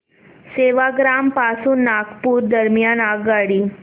सेवाग्राम पासून नागपूर दरम्यान आगगाडी